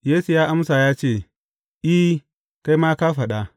Yesu ya amsa ya ce, I, kai ma ka fada.